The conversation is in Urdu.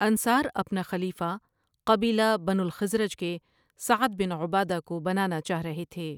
انصار اپنا خلیفہ قبیلہ بنو الخزرج کے سعد بن عبادہ کو بنانا چاہ رہے تھے ۔